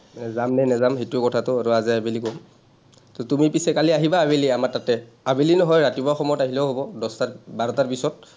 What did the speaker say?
যাম নে নেযাম সেইটো কথাটো আৰু আজি আবেলি ক’ম। তুমি পিচে কালি আহিবা আবেলি আমাৰ তাতে। আবেলি নহয় ৰাতিপুৱা সময়ত আহিলেও হব, দশটা বাৰটাৰ পিছত।